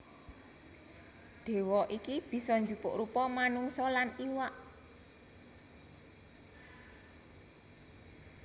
Déwa iki bisa njupuk rupa manungsa lan iwak